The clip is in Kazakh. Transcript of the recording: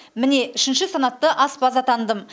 міне үшінші санатты аспаз атандым